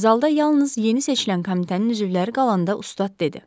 Zalda yalnız yeni seçilən komitənin üzvləri qalanda ustad dedi.